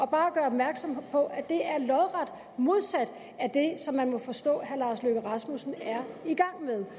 bare gøre opmærksom på at det er lodret modsat det som man må forstå herre lars løkke rasmussen er i gang med